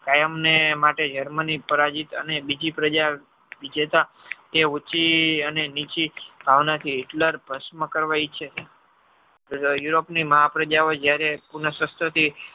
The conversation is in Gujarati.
કાયમ ને માટે germany પરાજિત અને બીજી પ્રજા વિજેતા એ ઉંચી અને નીચે ભાવના થી Hitler ભસ્મ કરવા ઇચ્છ છે europe ની મહા પ્રજા જયારે પુનસહ્ત્ર થી